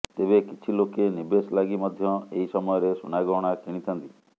ତେବେ କିଛି ଲୋକେ ନିବେଶ ଲାଗି ମଧ୍ୟ ଏହି ସମୟରେ ସୁନାଗହଣା କିଣିଥାନ୍ତି